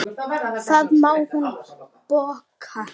Það má hún bóka.